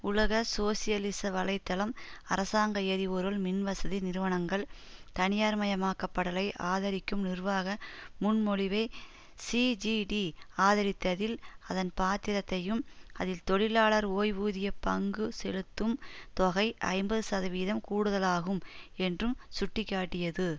உலக சோசியலிச வலை தளம் அரசாங்க எரிபொருள் மின்வசதி நிறுவனங்கள் தனியார் மயமாக்கப்படலை ஆதரிக்கும் நிர்வாக முன்மொழிவை சிஜிடி ஆதரித்ததில் அதன் பாத்திரத்தையும் அதில் தொழிலாளர் ஓய்வூதியப் பங்கு செலுத்தும் தொகை ஐம்பது சதவீதம் கூடுதலாகும் என்றும் சுட்டி காட்டியது